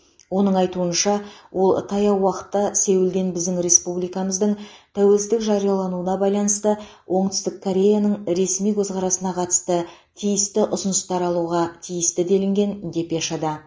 оның айтуынша ол таяу уақытта сеулден біздің республикамыздың тәуелсіздік жариялануына байланысты оңтүстік кореяның ресми көзқарасына қатысты тиісті ұсыныстар алуға тиісті делінген депешада